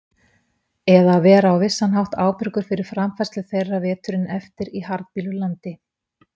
Eða að vera á vissan hátt ábyrgur fyrir framfærslu þeirra veturinn eftir í harðbýlu landi.